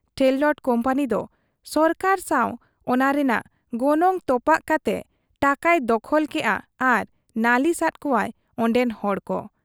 ᱴᱷᱮᱨᱞᱟᱴ ᱠᱩᱢᱯᱟᱹᱱᱤ ᱫᱚ ᱥᱚᱨᱠᱟᱨ ᱥᱟᱱ ᱚᱱᱟ ᱨᱮᱱᱟᱜ ᱜᱚᱱᱚᱝ ᱛᱚᱯᱟᱜ ᱠᱟᱛᱮ ᱴᱟᱠᱟᱭ ᱫᱚᱠᱷᱚᱞ ᱠᱮᱜ ᱟ ᱟᱨ ᱱᱟᱹᱞᱤᱥ ᱟᱫ ᱠᱚᱣᱟ ᱚᱱᱰᱮᱱ ᱦᱚᱲ ᱠᱚ ᱾